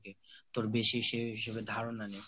তোর বেশি সেই বিষয়সম্পর্কে ধারণা নেই